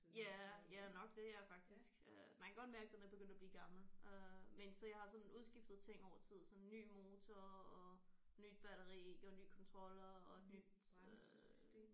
Ja ja nok det ja faktisk øh man kan godt mærke den er begyndt at blive gammel øh men så jeg har sådan udskiftet ting over tid så ny motor og nyt batteri og ny kontroller og nyt øh